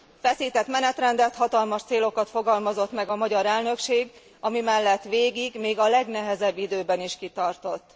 Feszített menetrendet, hatalmas célokat fogalmazott meg a magyar elnökség, ami mellett végig, még a legnehezebb időben is kitartott.